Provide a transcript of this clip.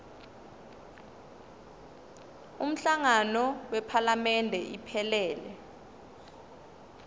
umhlangano wephalamende iphelele